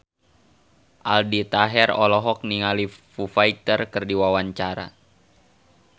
Aldi Taher olohok ningali Foo Fighter keur diwawancara